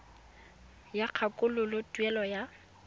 ya go kgakololo tuelo ya